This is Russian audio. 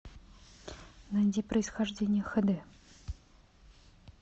найди происхождение хэ дэ